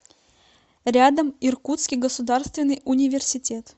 рядом иркутский государственный университет